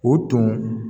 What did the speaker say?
O tun